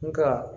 Nga